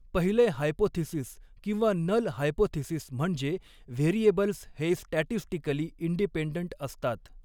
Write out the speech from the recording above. पहिले हायपोथिसिस किंवा null hypothesis म्हणजे व्हेरिएबल्स हे स्टॅटिस्टिकली इन्डीपेन्डन्ट असतात.